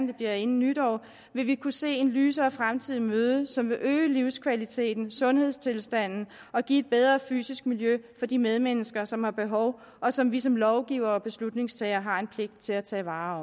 det bliver inden nytår vil kunne se en lysere fremtid i møde som vil øge livskvaliteten og sundhedstilstanden og give et bedre fysisk miljø for de medmennesker som har behov og som vi som lovgivere og beslutningstagere har en pligt til at tage vare